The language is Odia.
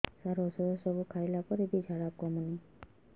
ସାର ଔଷଧ ସବୁ ଖାଇଲା ପରେ ବି ଝାଡା କମୁନି